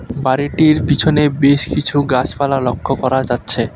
বাড়িটির পিছনে বেশ কিছু গাছপালা লক্ষ্য করা যাচ্ছে।